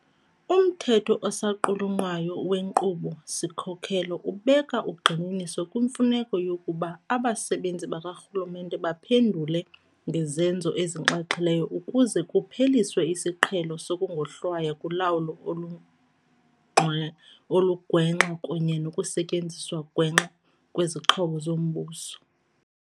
Umthetho osaqulunqwayo weNkqubo-sikhokelo ubeka ugxininiso kwimfuneko yokuba abasebenzi bakarhulumente baphendule ngezenzo ezinxaxhileyo, ukuze kupheliswe isiqhelo sokungohlwaywa kulawulo olugwenxa kunye nokusetyenziswa gwenxa kwezixhobo zombuso.